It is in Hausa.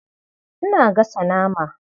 Ina gasa nama.